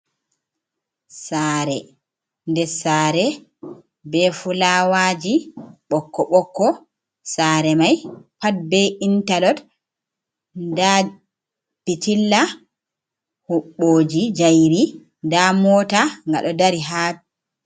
Saare nder saare, be fulawaaji ɓokko ɓokko, saare may pat be intalod, ndaa pitilla huɓɓooji jayri, ndaa moota ngaɗo dari ha.